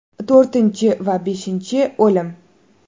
To‘rtinchi va beshinchi o‘lim.